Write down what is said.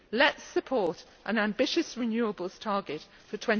Let us support an ambitious renewables target for